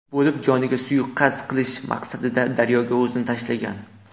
bo‘lib, joniga suiqasd qilish maqsadida daryoga o‘zini tashlagan.